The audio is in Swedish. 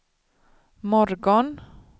morgon